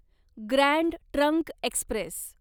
grand trunk Express